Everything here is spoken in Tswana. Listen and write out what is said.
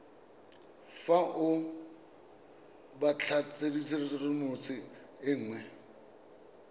fa o batlatshedimosetso e nngwe